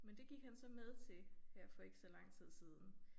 Men det gik han så med til her for ikke så lang tid siden